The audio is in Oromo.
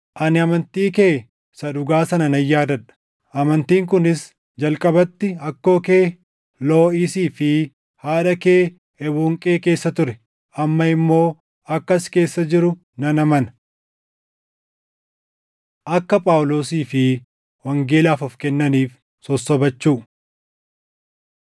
Ani amantii kee isa dhugaa sana nan yaadadha; amantiin kunis jalqabatti akkoo kee Looʼisii fi haadha kee Ewuunqee keessa ture; amma immoo akka si keessa jiru nan amana. Akka Phaawulosii fi Wangeelaaf Of Kennaniif Sossobachuu